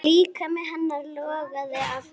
Líkami hennar logaði af þrá.